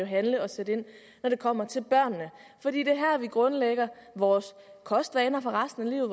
handle og sætte ind når det kommer til børnene for det er her vi grundlægger vores kostvaner for resten af